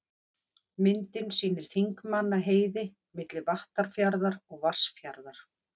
Myndin sýnir Þingmannaheiði, milli Vattarfjarðar og Vatnsfjarðar.